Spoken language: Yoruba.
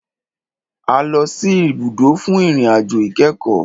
A lọ sì ibùdó fún ìrìn àjò ìkẹ́kọ̀.